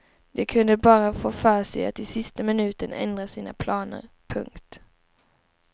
De kunde bara få för sig att i sista minuten ändra sina planer. punkt